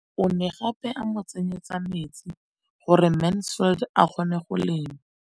O ne gape a mo tsenyetsa metsi gore Mansfield a kgone go lema.